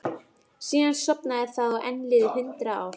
Síðan sofnaði það og enn liðu hundrað ár.